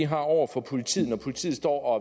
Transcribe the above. har over for politiet når politiet står og